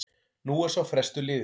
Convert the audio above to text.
Nú er sá frestur liðinn.